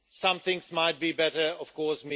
Some things might be better, of course.